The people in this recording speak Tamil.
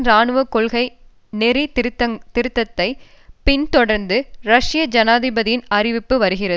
இராணுவ கொள்கை நெறி திருத்த்த்தைப் பின்தொடர்ந்து ரஷ்ய ஜனாதிபதியின் அறிவிப்பு வருகிறது